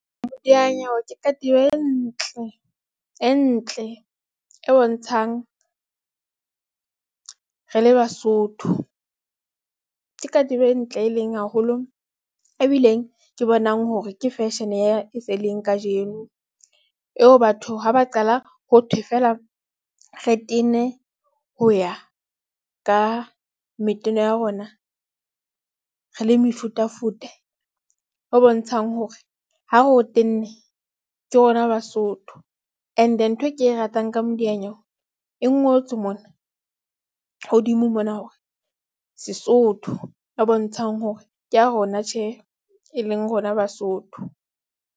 Modiyanyewe ke katiba e ntle, e ntle, e bontshang re le Basotho. Ke katiba e ntle, e leng haholo ebileng ke bonang hore ke fashion-e ya se leng kajeno eo batho ha ba qala ho thwe feela re tene ho ya ka meteno ya rona. Re le mefutafuta ho bontshang hore ha re o tenne ke rona Basotho. And-e ntho e ke e ratang ka modiyanyewe e ngotswe mona hodimo mona hore Sesotho e bontshang hore ke ya rona tjhe, e leng rona Basotho.